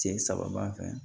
Cɛ saba b'an fɛ yan